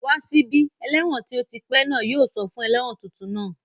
Wá sí bí! Ẹlẹ́wọ̀n tí ó ti pẹ́ náà yóò sọ fún ẹlẹ́wọ̀n tuntun náà